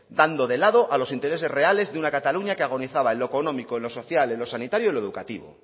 dando de lado a los intereses de una cataluña que agonizaba en lo económico en lo social en lo sanitario y en lo educativo